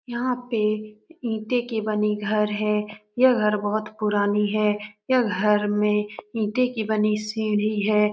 यहाँ पे ईंटे के बनी घर है यह घर बहुत पुरानी है यह घर में ईंटे की बनी सीढ़ी है।